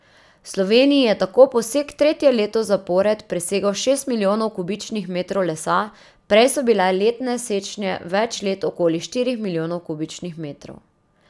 V Sloveniji je tako posek tretje leto zapored presegel šest milijonov kubičnih metrov lesa, prej so bile letne sečnje več let okoli štirih milijonov kubičnih metrov.